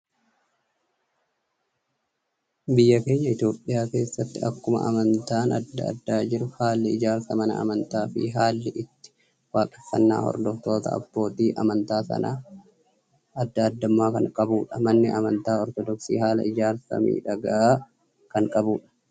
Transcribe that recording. Biyya keenya Itoophiyaa keessatti, akkuma amantaan addaa addaa jiru, haalli ijaarsa mana amataa fi haalli itti waaqeffannaa hordoftoota abbootii amantaa sanaa addaa addummaa kan qabudha. Manni amantaa Ortodoksii haala ijaarsaa miidhagaa kan qabudha.